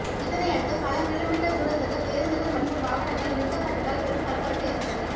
இதனை அடுத்து பல கிலோ மீட்டர் தூரத்துக்கு பேருந்துகள் மற்றும் வாகனங்கள் நிறுத்தப்பட்டதால் பெரும் பரபரப்பு ஏற்பட்டது